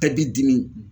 E b'i dimi